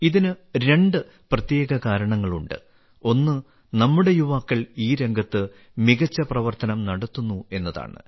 ഇതിന് രണ്ട് പ്രത്യേക കാരണങ്ങളുണ്ട് ഒന്ന് നമ്മുടെ യുവാക്കൾ ഈ രംഗത്ത് മികച്ച പ്രവർത്തനം നടത്തുന്നു എന്നതാണ്